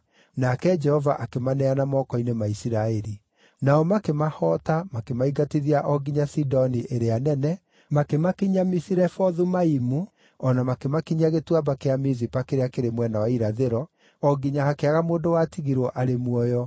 nake Jehova akĩmaneana moko-inĩ ma Isiraeli. Nao makĩmahoota makĩmaingatithia o nginya Sidoni ĩrĩa Nene, makĩmakinyia Misirefothu-Aimu, o na makĩmakinyia Gĩtuamba kĩa Mizipa kĩrĩa kĩrĩ mwena wa irathĩro, o nginya hakĩaga mũndũ watigirwo arĩ muoyo.